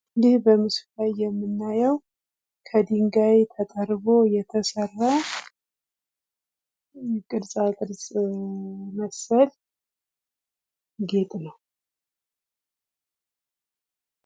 ይህ በምስሉ ላይ የምናየው ከዲንጋይ ተጠርቦ የተሰራ ቅርጻ ቅርጽ መሰል ጌት ነው።